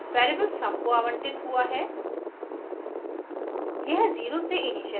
अब storage variable sum को आवंटित हुआ है